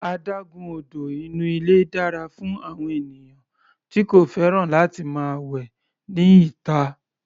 Adágún odò inú ilé dára fún àwọn ènìyàn tí kò fẹ́ràn láti máa wẹ ní ìta.